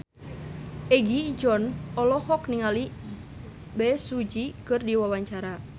Egi John olohok ningali Bae Su Ji keur diwawancara